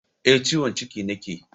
Eh, ciwon ciki nake